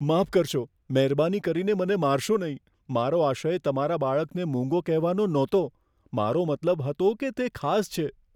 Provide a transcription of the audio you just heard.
માફ કરશો, મહેરબાની કરીને મને મારશો નહીં. મારો આશય તમારા બાળકને મૂંગો કહેવાનો નહોતો. મારો મતલબ હતો કે તે ખાસ છે.